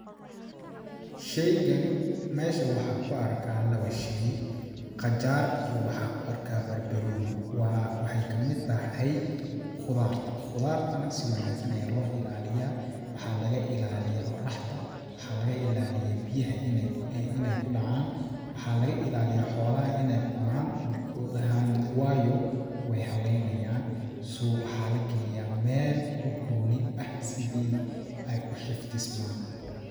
Sheygani ,meesha waxaan ku arkaa lawa sheey, qajaar iyo waxaa ku arkaa barbarooni ,waa, waxeey kamid tahay qudaarta ,qudaar ta na si wanaagsan ayaa loo ilaliyaa ,waxaa laga ilaliyaa oraxda ,waxaa laga ilaliyaa biyaha ineey, ineey ku dhacaan ,waxaa laga ilaliyaa xolaha ineey cunaan waayo weey halleey nayaan ,so waxaa la galiyaa meel u gooni eh sidi ay u xifdismaan.